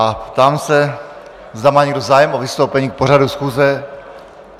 A ptám se, zda má někdo zájem o vystoupení k pořadu schůze.